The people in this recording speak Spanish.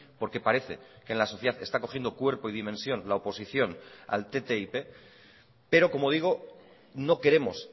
porque parece que en la sociedad está cogiendo cuerpo y dimensión la oposición al ttip pero como digo no queremos